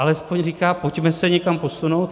Alespoň říká: pojďme se někam posunout.